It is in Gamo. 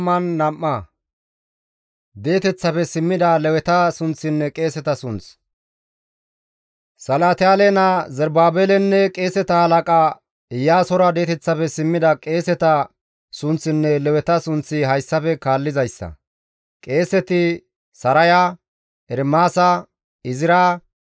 Salatiyaale naa Zerubaabelenne qeeseta halaqa Iyaasora di7eteththafe simmida qeeseta sunththinne Leweta sunththi hayssafe kaallizayssa; Qeeseti, Saraya, Ermaasa, Izra,